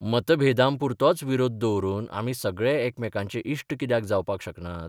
मतभेदांपुरतोच विरोध दवरून आमी सगळे एकामेकांचे इश्ट कित्याक जावपाक शकनात?